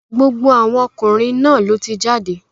Gbogbo àwọn ọkùnrin náà ló ti jáde.